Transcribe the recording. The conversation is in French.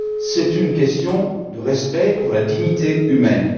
C'est une question de respect pour la dignité humaine.